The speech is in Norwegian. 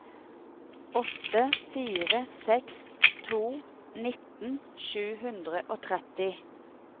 åtte fire seks to nittien sju hundre og tretti